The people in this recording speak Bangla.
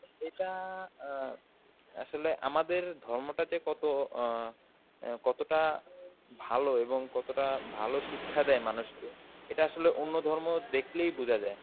এটা আ~ আসলে আমাদের ধর্মটা যে কত আ অ্যাঁ কতটা ভালো এবং কতটা ভালো শিক্ষা দেয় মানুষকে এটা আসলে অন্য ধর্ম দেখলেই বোঝা যায়.